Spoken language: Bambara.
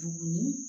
Dumuni